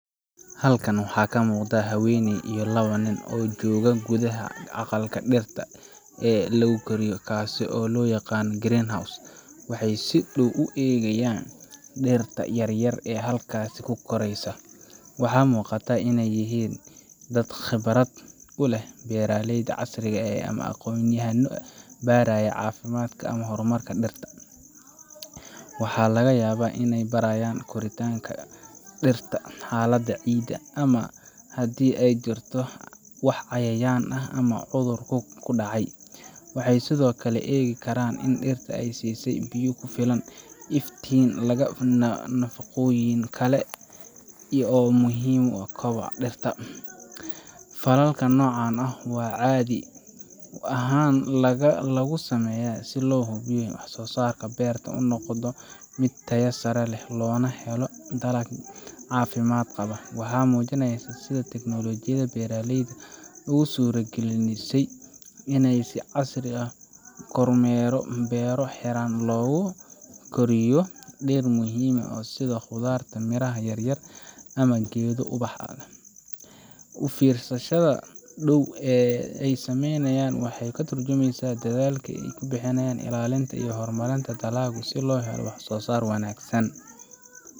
Halkan waxaa ka muuqda haweeney iyo laba nin oo jooga gudaha aqalka dhirta lagu koriyo, kaasoo loo yaqaan greenhouse. Waxay si dhow ugu fiirsanayaan dhirta yaryar ee halkaas ku koraysa. Waxaa muuqata inay yihiin dad khibrad u leh beeraleyda casriga ah ama aqoonyahanno baaraya caafimaadka ama horumarka dhirta. Waxaa laga yaabaa inay baarayaan koritaanka dhirta, xaalada ciidda, ama haddii ay jirto wax cayayaan ah ama cudur ku dhacay. Waxay sidoo kale u eegi karaan in dhirta la siiyay biyo ku filan, iftiin, ama nafaqooyin kale oo muhiim u ah koboca. Falalka noocan ah waxaa caadi ahaan lagu sameeyaa si loo hubiyo in waxsoosaarka beerta uu noqdo mid tayo sare leh, loona helo dalag caafimaad qaba. Waxay muujinaysaa sida teknoolojiyada beeraleyda ugu suuragelisay in si casri ah loo kormeero beero xiran oo lagu koriya dhir muhiim ah sida khudaarta, miraha yaryar, ama geedo ubax. U fiirsashada dhow ee ay sameynayaan waxay ka tarjumaysaa dadaalka lagu bixinayo ilaalinta iyo horumarinta dalagga si loo helo waxsoosaar wanaagsan.